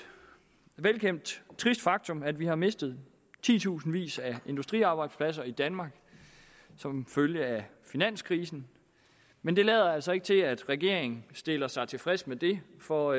velkendt trist faktum at vi har mistet titusindvis af industriarbejdspladser i danmark som følge af finanskrisen men det lader altså ikke til at regeringen stiller sig tilfreds med det for